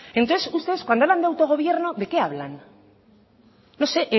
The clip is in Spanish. entonces ustedes cuando hablando de autogobierno de qué hablan no sé